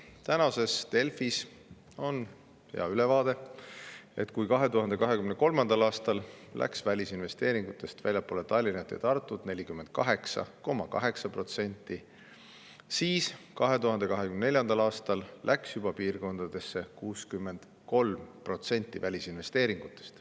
Tänases Delfis on hea ülevaade: kui 2023. aastal läks välisinvesteeringutest väljapoole Tallinna ja Tartut 48,8%, siis 2024. aastal läks piirkondadesse juba 63% välisinvesteeringutest.